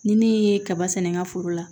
Ni ne ye kaba sɛnɛ n ka foro la